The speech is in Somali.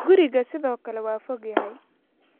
Guriga sidoo kale waa fog yahay